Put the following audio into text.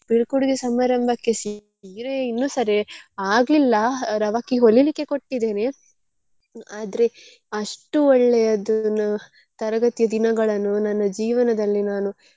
ಬೀಳ್ಕೊಡುಗೆ ಸಮಾರಂಭಕ್ಕೆ ಸೀರೆ ಇನ್ನೂ ಸರೆ ಆಗ್ಲಿಲ್ಲ ರವಕೆ ಹೊಲಿಲಿಕ್ಕೆ ಕೊಟ್ಟಿದ್ದೇನೆ ಆದ್ರೆ ಅಷ್ಟು ಒಳ್ಳೆಯದು ನ ತರಗತಿಯ ದಿನಗಳನ್ನು ನನ್ನ ಜೀವನದಲ್ಲಿ ನಾನು.